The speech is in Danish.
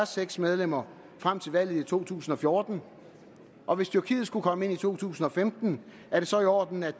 seks medlemmer frem til valget i 2014 og hvis tyrkiet skulle komme ind i to tusind og femten er det så i orden at